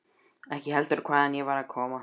Ekki heldur hvaðan ég var að koma.